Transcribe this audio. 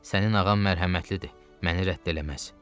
Sənin ağan mərhəmətlidir, məni rədd eləməz.